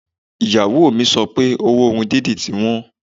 Ìyàwó mi sọ pé owó irun dídì ti wọ́n